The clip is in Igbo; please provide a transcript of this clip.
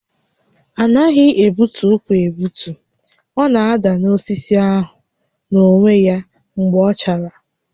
A naghị egbute ụkwa egbute, ọ na-ada n'osisi ahụ n'onwe ya mgbe ọ chara